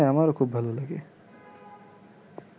হ্যাঁ আমারও খুব ভালো লাগে